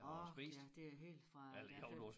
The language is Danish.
Ork ja det er helt fra da jeg fik